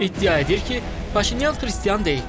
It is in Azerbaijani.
İddia edir ki, Paşinyan xristian deyil.